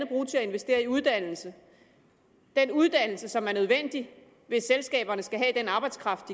investere i uddannelse den uddannelse som er nødvendig hvis selskaberne skal have den arbejdskraft